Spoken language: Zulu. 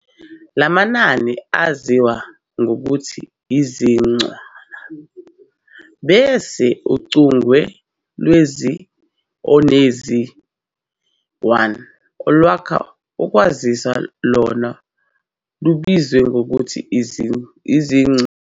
Lamanani aziwa ngokuthi izincwana, bese uchunge lwezi-0 nezi-1 olwakha ukwaziswa lona lubizwe ngokuthi izincu.